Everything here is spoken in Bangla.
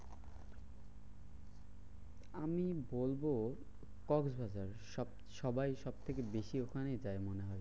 আমি বলবো কক্সবাজার সব সবাই সবথেকে বেশি ওখানে যায় মনে হয়।